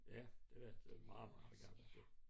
Ja det var det det var meget meget gammelt